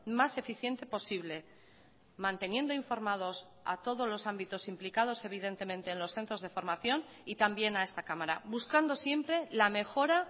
más eficiente posible manteniendo informados a todos los ámbitos implicados evidentemente en los centros de formación y también a esta cámara buscando siempre la mejora